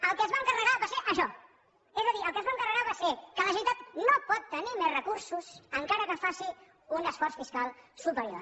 el que es van carregar va ser això és a dir el que es van carregar va ser que la generalitat no pot tenir més recursos encara que faci un esforç fiscal superior